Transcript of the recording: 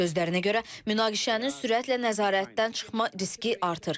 Sözlərinə görə, münaqişənin sürətlə nəzarətdən çıxma riski artır.